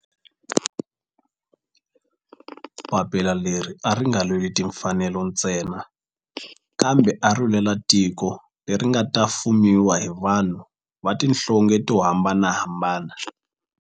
Papila leri a ri nga lweli timfanelo ntsena kambe ari lwela tiko leri nga ta fumiwa hi vanhu va tihlonge to hambanahambana.